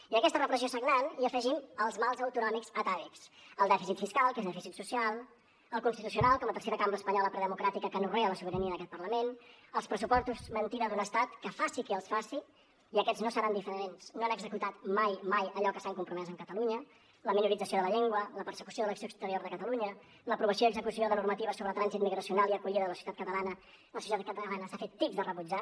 i a aquesta repressió sagnant hi afegim els mals autonòmics atàvics el dèficit fiscal que és dèficit social el constitucional com a tercera cambra espanyola democràtica que anorrea la sobirania d’aquest parlament els pressupostos mentida d’un estat que els faci qui els faci i aquests no seran diferents no han executat mai mai allò que s’han compromès amb catalunya la minorització de la llengua la persecució de l’acció exterior de catalunya l’aprovació i execució de normatives sobre trànsit migracional i acollida de la societat catalana que la societat catalana s’ha fet tips de rebutjar